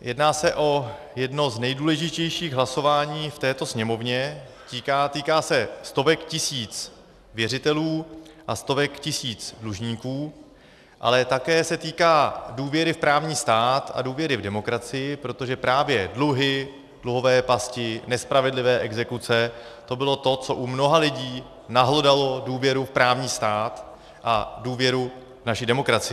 Jedná se o jedno z nejdůležitějších hlasování v této Sněmovně, týká se stovek tisíc věřitelů a stovek tisíc dlužníků, ale také se týká důvěry v právní stát a důvěry v demokracii, protože právě dluhy, dluhové pasti, nespravedlivé exekuce, to bylo to, co u mnoha lidí nahlodalo důvěru v právní stát a důvěru v naši demokracii.